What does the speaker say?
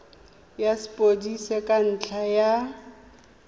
ya sepodisi ka ntlha ya